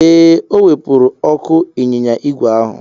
Ee, o wepụrụ ọkụ ịnyịnya ígwè ahụ.